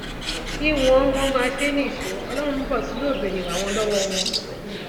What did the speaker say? kí wọn wọn máa ṣe é nìṣó ọlọrun ń bọ tí yóò béèrè ìwà wọn lọwọ wọn